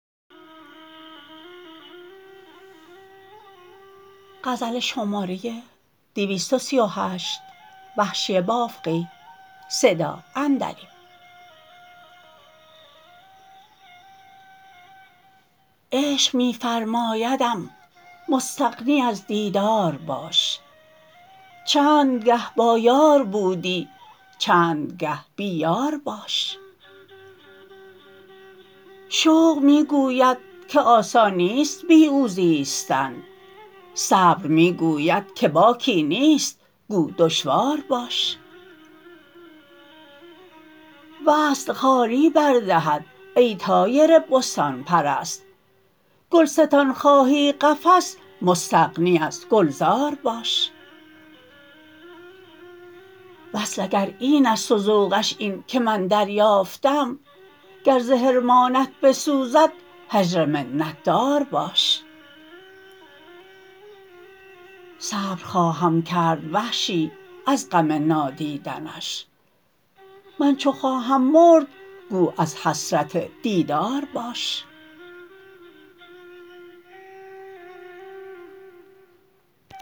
عشق می فرمایدم مستغنی از دیدار باش چند گه با یار بودی چند گه بی یار باش شوق می گوید که آسان نیست بی او زیستن صبر می گوید که باکی نیست گو دشوار باش وصل خواری بر دهد ای طایر بستان پرست گلستان خواهی قفس مستغنی از گلزار باش وصل اگر اینست و ذوقش این که من دریافتم گر ز حرمانت بسوزد هجر منت دار باش صبر خواهم کرد وحشی از غم نادیدنش من چو خواهم مرد گو از حسرت دیدار باش